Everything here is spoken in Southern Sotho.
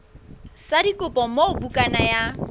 sa dikopo moo bukana ya